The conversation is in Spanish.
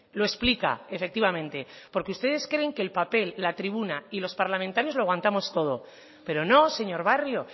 lo explica efectivamente porque ustedes creen que el papel la tribuna y los parlamentarios lo aguantamos todo pero no señor barrio